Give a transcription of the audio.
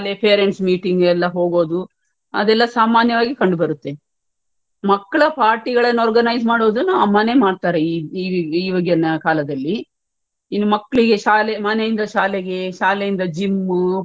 parents meeting ಎಲ್ಲಾ ಹೋಗೋದುಅದೆಲ್ಲಾ ಸಾಮಾನ್ಯವಾಗಿ ಕಂಡುಬರುತ್ತೆ. ಮಕ್ಳ party ಗಳನ್ನ organise ಮಾಡೋದನ್ನ ಅಮ್ಮನೇ ಮಾಡ್ತಾರೆ ಈ~ ಈವಾಗಿನ ಕಾಲದಲ್ಲಿ ಇನ್ನು ಮಕ್ಳಿಗೆ ಶಾಲೆ ಮನೆಯಿಂದ ಶಾಲೆಗೆ ಶಾಲೆಯಿಂದ gym